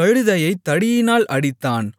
கழுதையைத் தடியினால் அடித்தான்